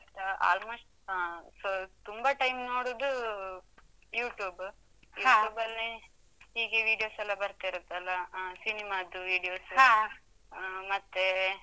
Insta~ almost ಆ, so ತುಂಬ time ನೋಡುದು YouTube . YouTube ಲ್ಲಿ ಹೀಗೆ Video's ಸ್ ಎಲ್ಲ ಬರ್ತಾ ಇರುತ್ತಲ್ಲ? ಹಾ, ಸಿನಿಮಾದ್ದು Video's ಸ್. ಆ, ಮತ್ತೇ.